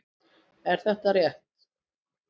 Er þetta rétt?